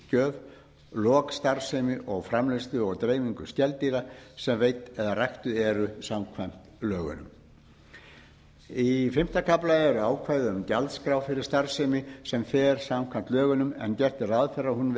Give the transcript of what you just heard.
skýrslugjöf lok starfsemi og framleiðslu og dreifingu skeldýra sem veidd eða ræktuð eru samkvæmt lögunum í fimmta kafla eru ákvæði um gjaldskrá fyrir starfsemi sem fer samkvæmt lögunum en gert er ráð fyrir að hún